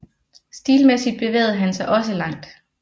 Stilmæssigt bevægede han sig også langt